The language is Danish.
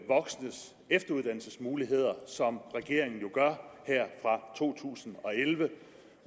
voksnes efteruddannelsesmuligheder som regeringen jo gør her fra to tusind og elleve